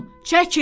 Çəkin!